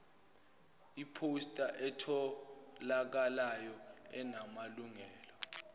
iphosta etholakalayo enamalungelo